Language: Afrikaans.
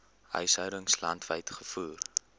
huishoudings landwyd gevoer